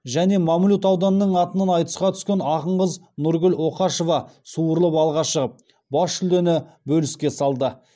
және мамлют ауданының атынан айтысқа түскен ақын қыз нұргүл оқашева суырылып алға шығып бас жүлдені бөліске салды